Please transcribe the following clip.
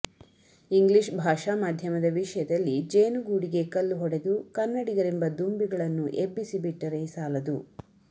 English ಭಾಷಾ ಮಾಧ್ಯಮದ ವಿಷಯದಲ್ಲಿ ಜೇನುಗೂಡಿಗೆ ಕಲ್ಲು ಹೊಡೆದು ಕನ್ನಡಿಗರೆಂಬ ದುಂಬಿಗಳನ್ನು ಎಬ್ಬಿಸಿ ಬಿಟ್ಟರೆ ಸಾಲದು